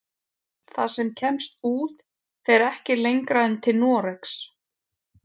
Það sem kemst út fer ekki lengra en til Noregs.